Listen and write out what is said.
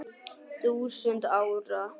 þúsund árum.